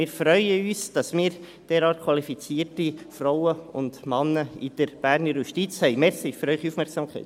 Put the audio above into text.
Wir freuen uns, dass wir in der Berner Justiz derart qualifizierte Frauen und Männer haben.